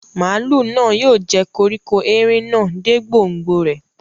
Màálù náà yóò jẹ koríko erin náà dé gbòngbò rẹ̀